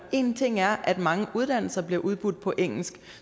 en ting er at mange uddannelser bliver udbudt på engelsk